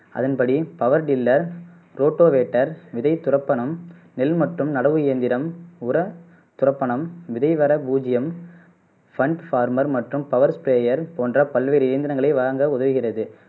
அதன்படி power tiller rotavator விதைத்துறப்பனம் நெல் மற்றும் நடவு இயந்திரம் உர துறப்பனம் விதை வர பூஜ்ஜியம் ஃபன் ஃபார்மர் மற்றும் பவர் ஸ்பிரேயர் போன்ற பல்வேறு இயந்திரங்களை வழங்க உதவுகிறது